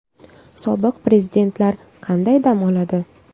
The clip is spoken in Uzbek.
Sobiq prezidentlar qanday dam oladi?